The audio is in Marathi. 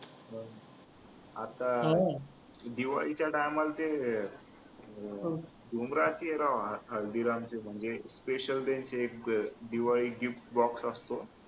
आता दिवाळीच्या time ला ते हल्दीरामचे म्हणजे special ते त्यांचे एक दिवाळी box असतो